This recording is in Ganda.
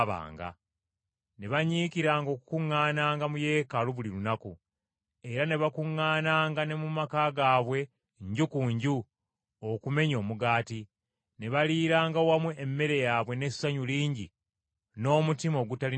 Ne banyiikiranga okukuŋŋaananga mu Yeekaalu buli lunaku, era ne bakuŋŋaananga ne mu maka gaabwe nju ku nju okumenya omugaati, ne baliiranga wamu emmere yaabwe n’essanyu lingi n’omutima ogutalina bukuusa,